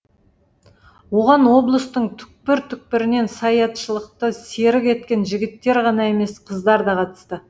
оған облыстың түкпір түкпірінен саятшылықты серік еткен жігіттер ғана емес қыздар да қатысты